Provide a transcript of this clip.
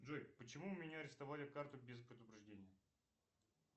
джой почему у меня арестовали карту без предупреждения